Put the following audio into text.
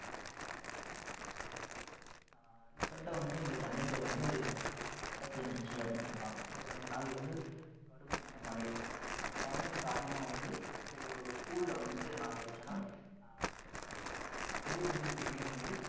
இப்போ அஹ் recent ஆ வந்து இங்க சென்னையில வந்து அஹ் மழை பேஞ்சுச்சு அப்படின்னு சொன்னாங்க ஒரு ரெண்டு நாள் வந்து கடுமையான மழை அந்த மழையின் காரணமா வந்து இது ஒரு school ல வந்து நா வச்சேன்னா அஹ் செவுரு வந்து திடீர்ன்னு வந்து